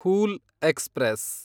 whole express